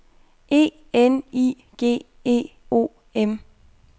E N I G E O M